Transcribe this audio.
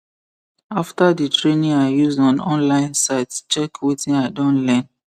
after the training i use on online site check wetin i don learn